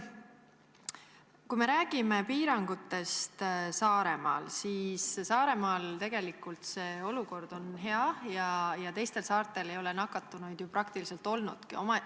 Kui me räägime piirangutest Saaremaal, siis Saaremaal tegelikult on olukord hea ja teistel saartel ei ole nakatunuid ju praktiliselt olnudki.